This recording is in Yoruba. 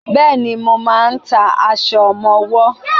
Bẹ́ẹ̀ni, mo máà ń ta aṣọ ọmọwọ́.